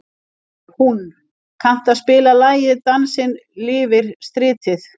Húnn, kanntu að spila lagið „Dansinn lifir stritið“?